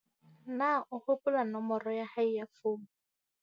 Na o hopola nomoro ya hae ya founu?